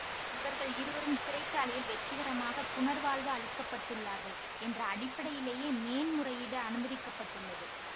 இவர்கள் இருவரும் சிறை சாலையில் வெற்றிகரமாக புனர்வாழ்வு அளிக்கப்பட்டுள்ளார்கள் என்ற அடிப்படையிலேயே மேன்முறையீடு அனுமதிக்க பட்டுள்ளது